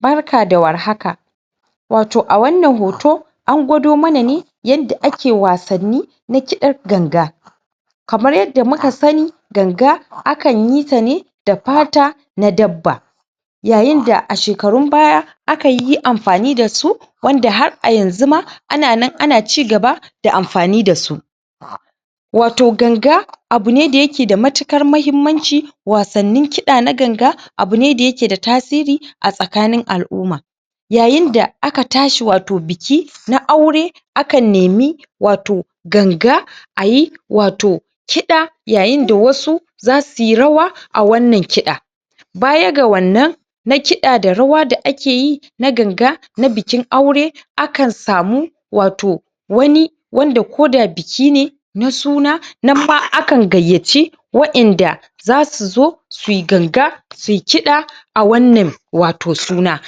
Barka da war haka. Wato a wannan hoto, an gwado mana ne yanda ake wassani, na kiɗar ganga. Kamar yadda muka sani, ganga a kan yita ne da fata na dabba. Yayin da a shekarun baya, a kan yi amfani dasu wanda har a yanzu ma ana nan ana cigaba da amfani da su. Wato ganga, abu ne da yake da matuƙar muhimmanci, wasannin kiɗa na ganga, abu ne da yake da tasiri a tsakanin al'umma. Yayin da aka tashi wato biki na aure, a kan nemi wato ganga, ayi wato kiɗa, yayin da wasu za suyi rawa, a wannan kiɗa. Baya ga wannan, na kiɗa da rawa da akeyi na ganga, na bikin aure, a kan samu wato wani, wanda ko da biki ne na suna, nan ma akan gayyaci wa'inda zasu zo, suyi ganga, suyi kiɗa, a wannan wato suna,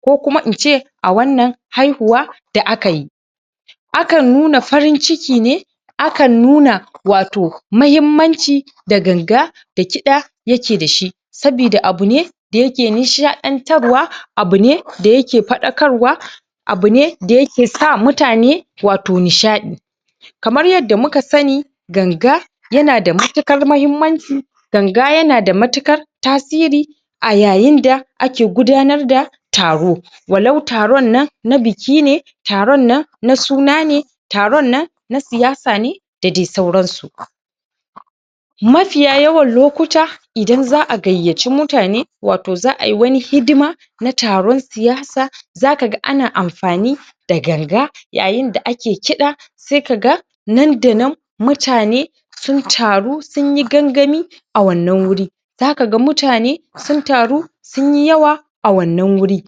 ko kuma in ce a wannan haihuwa da akayi. A kan nuna farin ciki ne, a kan nuna wato mahimmanci da ganga, da kiɗa yake da shi, sabida abu ne da yake nishaɗantarwa, abu ne da yake faɗakarwa, abu ne da yake sa mutane wato nishaɗi. Kamar yadda muka sani, ganga yana da matuƙar mahimmanci, ganga yana da matuƙar tasiri, a yayin da ake gudanar da taro. Walau taron nan na biki ne, taron nan na suna ne, taron nan na siyasa ne, da dai sauran su. Mafiya yawan lokuta, idan za a gayyaci mutane, wato za ayi wani hidima na taron siyasa, za kaga ana amfani da ganga, yayin da ake kiɗa, sai ka ga nan da nan mutanne sun taru, sunyi gangami a wannan wuri. Za kaga mutane sun taru, sunyi yawa a wannan wuri.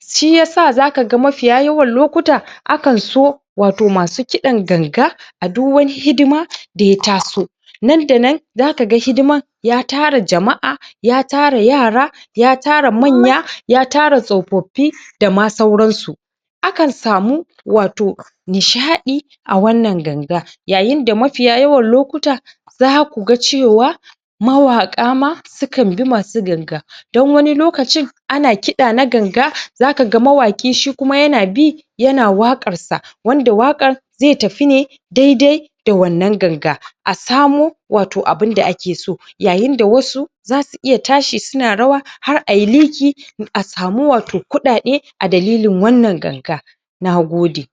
Shi yasa za kaga mafiya yawan lokuta, akan so wato masu kiɗan ganga, a du wani hidima da ya taso, nan da nan za kaga hidiman ya tara jama'a, ya tara yara, ya tara manya, ya tara tsofaffi, da ma sauran su. A kan samu wato nishaɗi a wannan ganga. Yayin da mafiya yawan lokuta, za kuga cewa mawaƙa ma, su kan bi masu ganga, don wani lokacin ana kiɗa na ganga, za kaga mawaƙi shi kuma yana bi, yana waƙar sa, wanda waƙar ze tafi ne dai-dai da wannan ganga, a samo wato abinda ake so. Yayin da wasu zasu iya tashi sun rawa har ayi liƙi, a samu wato kuɗaɗe, a dalilin wannan ganga. Nagode.